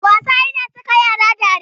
Wasa yana saka yara dariya sosai.